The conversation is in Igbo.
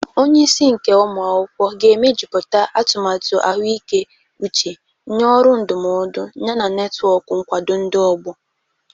Onye isi nke ụmụ akwụkwọ ga-emejuputa atumatu ahụike uche, nye ọrụ ndụmọdụ, yana netwọk nkwado ndị ọgbọ.